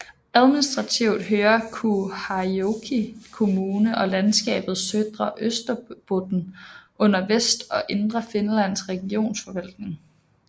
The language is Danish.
Administrativt hører Kauhajoki kommune og landskabet Södra Österbotten under Vest og Indre Finlands regionsforvaltning